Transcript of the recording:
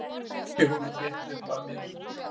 Kippi honum þétt upp að mér.